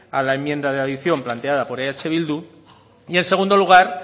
a la enmienda de adicción planteada por eh bildu y en segundo lugar